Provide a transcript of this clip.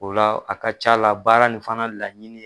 O la a ka ca la baara nin fana laɲini